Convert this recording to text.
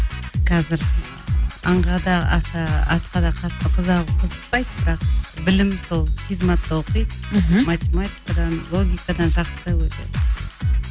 қазір аңға да аса атқа да қатты қызықпайды бірақ білім сол физматта оқиды мхм математикадан логикадан жақсы өте